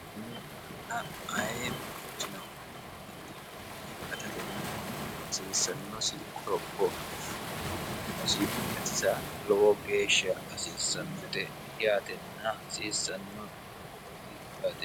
nni daanna ayi manchino kunni dinni gatatenna hasiissannosi quropo asse omosi gatisa lowo geeshsha hasiissannote yaatenna hasiissanno doogooti yaate